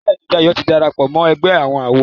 Béèni Dayo tí darapọ̀ mọ ègbé àwọn àwo.